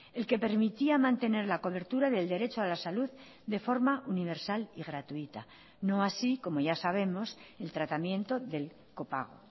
el que permitía mantener la cobertura del derecho a la salud de forma universal y gratuita no así como ya sabemos el tratamiento del copago